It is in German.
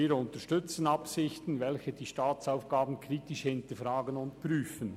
Wir unterstützen Absichten, welche die Staatsaufgaben kritisch hinterfragen und prüfen.